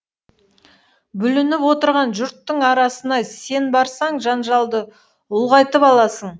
бүлініп отырған жұрттың арасына сен барсаң жанжалды ұлғайтып аласың